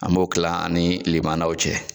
An b'o kila an ni lemananw cɛ.